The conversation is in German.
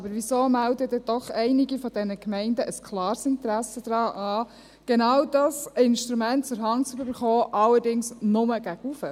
Weshalb melden dann doch einige Gemeinden ein klares Interesse an, genau dieses Instrument zur Hand zu bekommen, allerdings nur gegen oben?